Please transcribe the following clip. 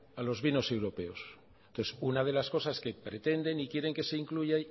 a los vinos europeos pues una de las cosas que pretenden y quieren que se incluya